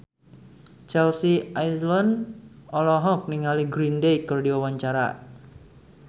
Chelsea Islan olohok ningali Green Day keur diwawancara